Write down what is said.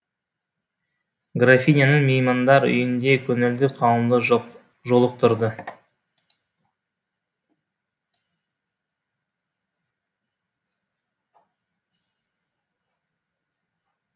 графиняның меймандар үйінде көңілді қауымды жолықтырды